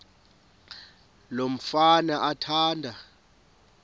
lo mfana athanda